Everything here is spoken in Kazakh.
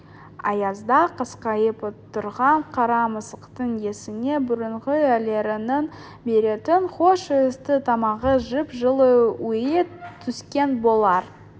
аязда қасқайып отырған қара мысықтың есіне бұрынғы иелерінің беретін хош иісті тамағы жып-жылы үйі түскен болар